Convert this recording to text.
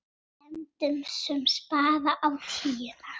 Renndi svo spaða á tíuna.